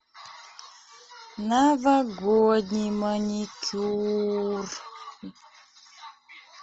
новогодний маникюр